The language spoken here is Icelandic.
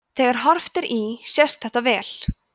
þegar horft er í sést þetta vel